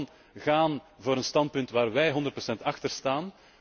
Laten we gewoon gaan voor een standpunt waar wij 100 achter staan.